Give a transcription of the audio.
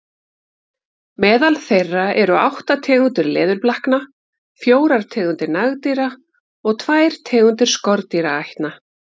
Meðal þeirra eru átta tegundir leðurblakna, fjórar tegundir nagdýra og tvær tegundir skordýraætna.